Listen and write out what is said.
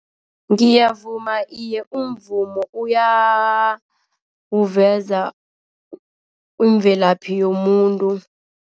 Ngiyavuma iye umvumo uyawuveza umvelaphi yomuntu.